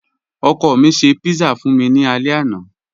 Ọkọ mi ṣẹ̀ pizza fun mi ni àlẹ̀ àná.